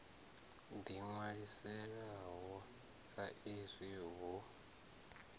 ḓi ṅwalisaho sa izwi hu